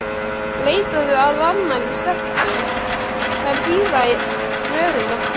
Leitaðu að annarri stelpu, þær bíða í röðum eftir þér!